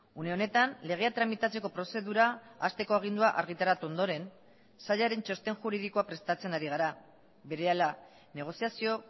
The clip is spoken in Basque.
une honetan legea tramitatzeko prozedura hasteko agindua argitaratu ondoren sailaren txosten juridikoa prestatzen ari gara berehala negoziazio